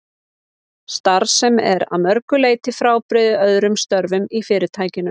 Starf sem er að mörgu leyti frábrugðið öðrum störfum í Fyrirtækinu.